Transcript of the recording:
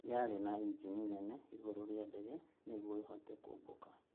Yaarĩ na injini nene igũrũ rĩa ndege nĩgũo ĩbote kũbũmka